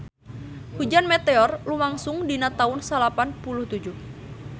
Hujan meteor lumangsung dina taun salapan puluh tujuh